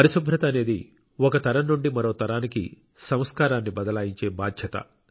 పరిశుభ్రత అనేది ఒక తరం నుండి మరో తరానికి సంస్కారాన్ని బదలాయించే బాధ్యత